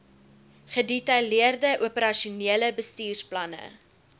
gedetaileerde operasionele bestuursplanne